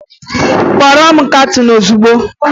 Kpọọrọ m kaptịn ozugbo!